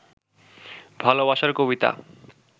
ভালবাসার কবিতা